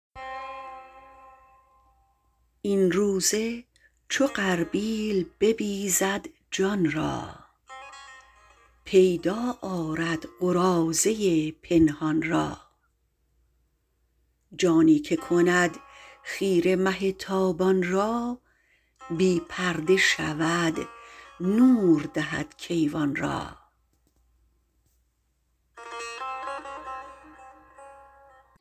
این روزه چو غربا ل ببیزد جان را پیدا آرد قراضه پنهان را جانی که کند خیره مه تابان را بی پرده شود نور دهد کیوان را